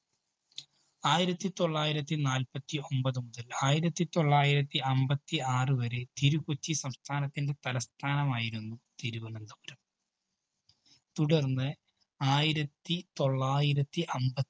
ആയിരത്തിതൊള്ളായിരത്തി നാല്പത്തിഒമ്പത് മുതല്‍ ആയിരത്തിതൊള്ളായിരത്തി അമ്പത്തിആറു വരെ തിരു-കൊച്ചി സ്ഥാനത്തിന്റെ തലസ്ഥാനമായിരുന്നു തിരുവനന്തപുരം. തുടര്‍ന്ന് ആയിരത്തിതൊള്ളായിരത്തി അമ്പ